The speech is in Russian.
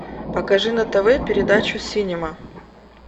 покажи на тв передачу синема